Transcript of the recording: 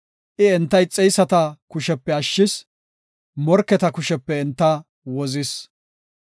I enta ixeyisata kushepe ashshis; morketa kushepe enta wozis.